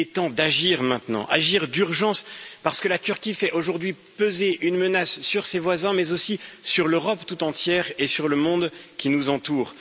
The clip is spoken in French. Il est temps d'agir maintenant, agir d'urgence parce que la Turquie fait aujourd'hui peser une menace sur ses voisins, mais aussi sur l'Europe tout entière et sur le monde qui nous entoure.